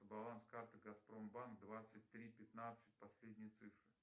баланс карты газпром банк двадцать три пятнадцать последние цифры